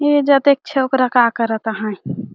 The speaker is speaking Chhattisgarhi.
ए जा तो एक छोकरा का करत हे।